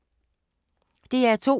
DR2